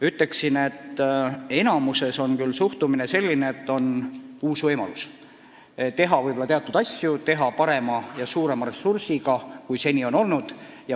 Ütleksin, et valdavalt on suhtumine selline, et nüüd on võimalus teha teatud asju paremini, kasutades suuremaid ressursse kui seni.